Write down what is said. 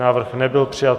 Návrh nebyl přijat.